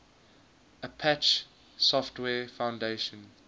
apache software foundation